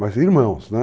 Mas irmãos, né?